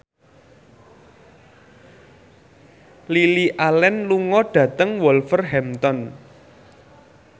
Lily Allen lunga dhateng Wolverhampton